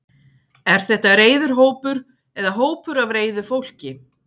er þetta reiður hópur eða hópur af reiðu fólki